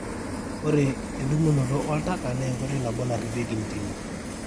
ore endumunotooltaka naa enkoitoi nabo ina narripieki intimi